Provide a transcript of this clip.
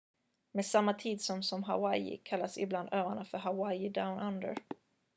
"med samma tidszon som hawaii kallas ibland öarna för "hawaii down under"".